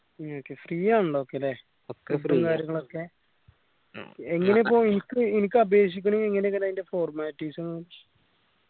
okay free ആണല്ലോ ഒക്കെ ല്ലേ ഒക്കെ ഇപ്പോ എനിക്ക് എനിക്ക് അപേക്ഷഹിക്കണെങ്കി എങ്ങനെ അയിന്റെ formalities